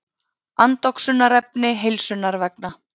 Andoxunarefni heilsunnar vegna.